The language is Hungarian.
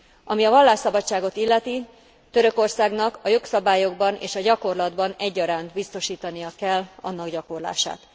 Ami a vallásszabadságot illeti, Törökországnak a jogszabályokban és a gyakorlatban egyaránt biztosítania kell annak gyakorlását.